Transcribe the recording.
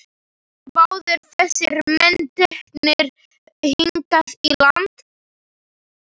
Voru báðir þessir menn teknir hingað í land.